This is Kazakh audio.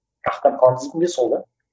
рахаттанып қаламыз дейтіні сол да